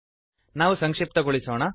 ನಾವು ಸಂಕ್ಶಿಪ್ತಗೊಳಿಸೋಣ